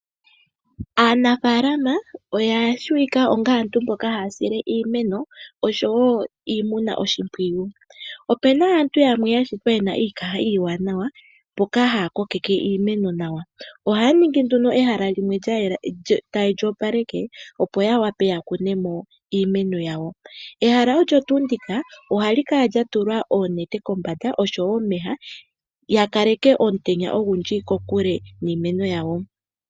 Aanafalama oyatseyika onga aantu mboka haa sile iimeno nosho woo iimuna oshimpwiyu. Opena aantu yamwe yashitwa yena iikaha iiwanawa mboka haa kokeke iimeno nawa ohaaningi ehala lyayela nawa haye lyoopaleke opo ya vule yakunemo iimeno yawo. Ehala ndika oha li kala lyatulwa oonete kombanda nosho woo omeya yakeelele omutenya ogundji kiimeno yawo.